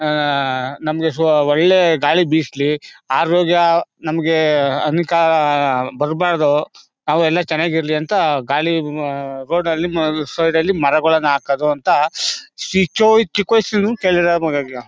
ಆಹ್ಹ್ ನಮಗೆ ಸ್ವಲ್ಪ ಒಳ್ಳೆ ಗಾಳಿ ಬೀಸ್ಲಿ ಆರೋಗ್ಯ ನಮಗೆ ಬರ್ಬಾರ್ದು ನಾವೆಲ್ಲ ಚೆನ್ನಾಗಿರ್ಲಿ ಅಂತ ಖಾಲಿ ರೋಡ್ ಅಲ್ಲಿ ಸೈಡ್ ಅಲ್ಲಿ ಮರಗಳು ಹಾಕೋದು ಅಂತ